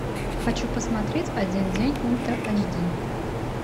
хочу посмотреть один день ультра айч ди